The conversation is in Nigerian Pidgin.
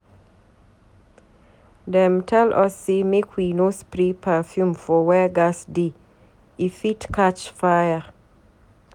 Dem tell us sey make we no spray perfume for where gas dey, e fit catch fire.